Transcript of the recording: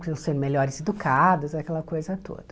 Para elas serem melhores educadas, aquela coisa toda.